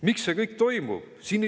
Miks see kõik toimub?